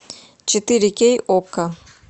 четыре кей окко